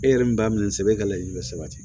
E yɛrɛ min b'a minɛ sɛbɛ e ka laɲini bɛ sabati